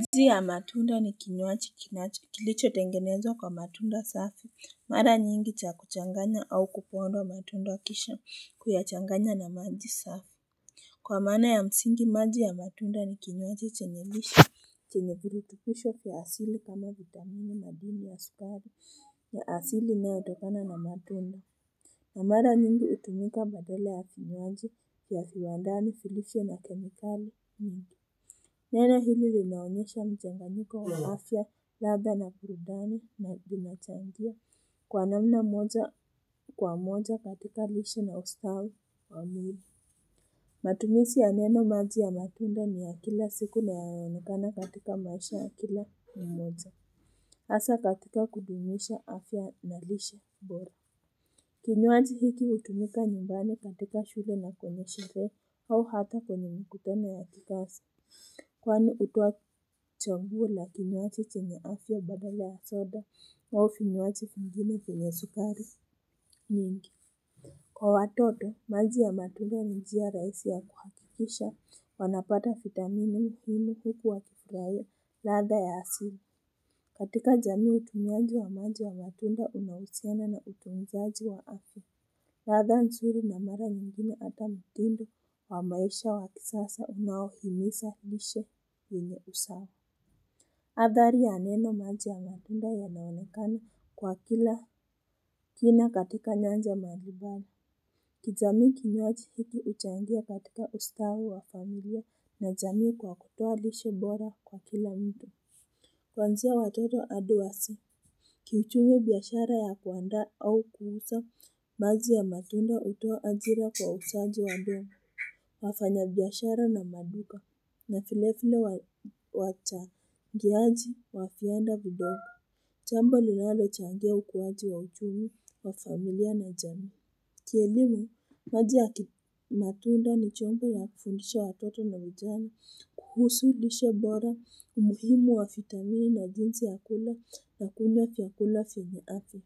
Jiusi ya matunda ni kinywaji kichotengenezwa kwa matunda safi. Mara nyingi cha kuchanganya au kupondwa matunda kisha kuyachanganya na maji safi. Kwa maana ya msingi maji ya matunda ni kinywaji chenye lishe. Chenye virutibisho vya asili kama vitamini madini wa sukari ya asili inayotokana na matunda. Na mara nyingi hutumika badala ya vinywaji vya viwandani vilivyo na kemikali nyingi. Neno hili linaonyesha mchanganyiko wa afya, ladha na burudani na vinachangia kwa namna kwa moja katika lishe na ustawi wa mwili. Matumizi ya neno maji ya matunda ni ya kila siku na yanaonekana katika maisha ya kila ni moja. Hasa katika kudumisha afya na lishe bora. Kinywaji hiki hutumika nyumbani katika shule na kwenye sherehe au hata kwenye mikutano ya kikazi. Kwani hutoa chaguo la kinywaji chenye afya badala wa soda au vinywaji vingine vyenye sukari mingi. Kwa watoto maji ya matunda ni njia rahisi ya kuhakikisha wanapata vitamini muhimu huku wakifurahia latha ya asili. Katika jamii utumiaji wa maji wa matunda unahusiana na utunzaji wa afya. Ladha nzuri na mara nyingine hata mtindo wa maisha wa kisasa unao himiza lishe yenye usawa. Adhari ya neno maji ya matunda yanaonekana kwa kina katika nyanja mbalimbali. Kijamii kinywaji hiki huchangia katika ustawi wa familia na jamii kwa kutoa lishe bora kwa kila mtu. Kwanzia watoto hadi wazee, kiuchumi biashara ya kuandaa au kuuza, maji ya matunda hutoa ajira kwa wauzajii wadogo. Wafanyabiashara na maduka, na vile vile wachangiaji wa viwanda vidogo. Jambo linalo changia ukuaji wa uchumi wa familia na jamii. Kielimu, maji ya matunda ni chombo ya kufundisha watoto na vijana kuhusu lishe bora, umuhimu wa vitamini na jinsi ya kula na kunywa vyakula vyenye afya.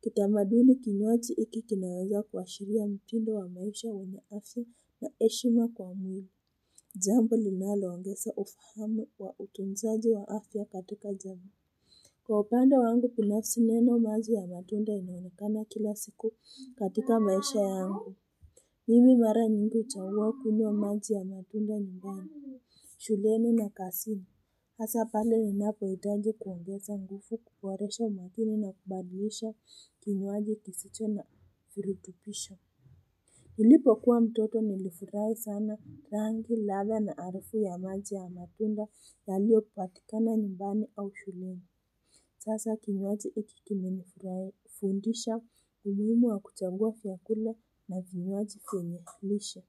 Kitamaduni kinywaji hiki kinaweza kuashiria mtindo wa maisha wenye afya na heshima kwa mwili. Jambo linaloongeza ufahamu wa utunzaji wa afya katika jamii. Kwa upande wangu binafsi neno maji ya matunda inaonekana kila siku katika maisha yangu. Mimi mara nyingi huchagua kunywa maji ya matunda nyumbani. Shuleni na kazini. Hasa pale ninapohitaji kuongeza nguvu kuboresha umakini na kubadilisha kinywaji kisicho na virutubisho. Nilipo kuwa mtoto nilifurahi sana rangi ladha na harufu ya maji ya matunda yaliyopatikana nyumbani au shuleni. Sasa kinywaji hiki kimenifundisha umuhimu wa kuchagua vyakula na vinywaji vyenye lishe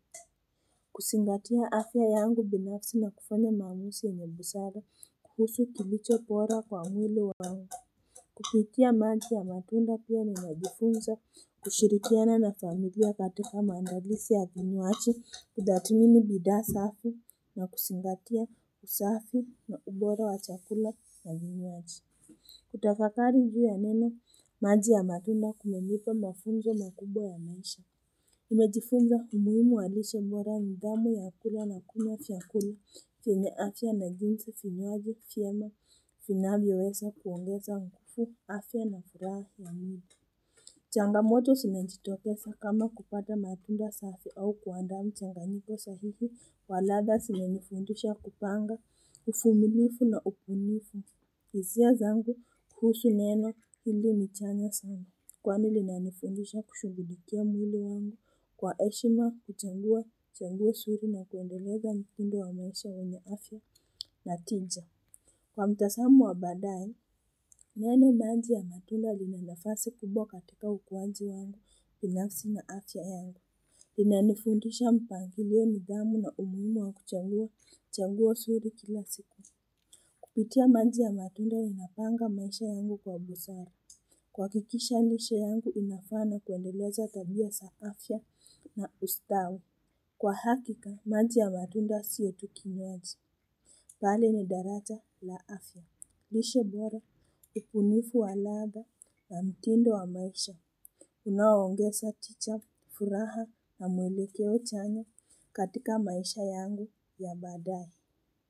kuzingatia afya yangu binafsi na kufanya maamuzi ya busara kuhusu kilicho bora kwa mwili wangu kupitia maji ya matunda pia najifunza kushirikiana na familia katika maandalizi ya vinywaji kutathmini bidhaa safi na kuzingatia usafi na ubora wa chakula na vinywaji. Kutafakari ju ya neno maji ya matunda kumenipa mafunzo makubwa ya maisha nimejifunza umuhimu wa lishe bora nidhamu ya kula na kunywa vyakula vyenye afya na jinsi finywaji fyema finavyoweza kuongeza ngufu afya na furaha ya mwili. Changamoto sinajitokesa kama kupata matunda safi au kuandaa mchanganyito sahihi wa ladha simenifundisha kupanga, ufumilifu na upunifu. Hisia zangu kuhusu neno hili ni chanya sana kwani linanifundisha kushughulikia mwili wangu kwa heshima kuchangua changua usuri na kuendeleza mtindo wa maisha yenye afya na tija. Kwa mtasamo wa baadaye, neno maji ya matunda lina nafasi kubwa katika ukuwaji wangu binafsi na afya yangu. Linanifundisha mpangilio nidhamu na umuhimu wa kuchangua changua suri kila siku. Kupitia maji ya matunda ninapanga maisha yangu kwa busara. Kuhakikisha lishe yangu inafana kuendeleza tabia sa afya na ustawi. Kwa hakika maji ya matunda sio tu kinywaji bali ni daracha la afya. Lishe bora ubunifu wa ladha na mtindo wa maisha. Unaoongesa ticha furaha na mwelekeo chanya katika maisha yangu ya baadaye.